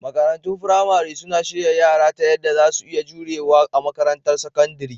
Makarantun firamare suna shirya yara ta yadda za su iya jurewa a makarantar sakandare